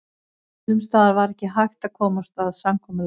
Sums staðar var ekki hægt að komast að samkomulagi.